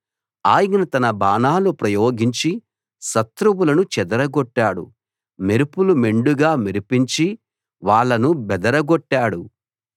ఆయన తన బాణాలు ప్రయోగించి శత్రువులను చెదరగొట్టాడు మెరుపులు మెండుగా మెరిపించి వాళ్ళను బెదరగొట్టాడు